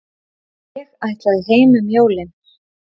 Ég ætlaði heim um jólin.